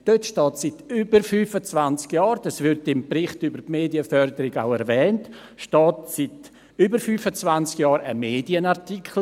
In dieser steht seit über 25 Jahren – dies wird im Bericht über die Medienförderung auch erwähnt – ein Medienartikel.